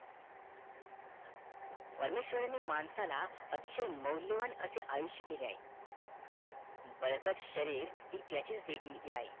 परमेशवराने माणसाला अतिशय मौल्यवान असे आयुष्य दिले आहे बळकट शारीर हे त्याचीच देणगी आहे